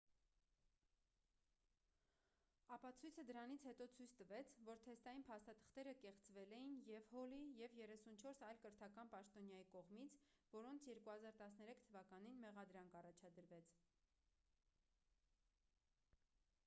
ապացույցը դրանից հետո ցույց տվեց որ թեստային փաստաթղթերը կեղծվել էին և հոլի և 34 այլ կրթական պաշտոնյայի կողմից որոնց 2013 թվականին մեղադրանք առաջադրվեց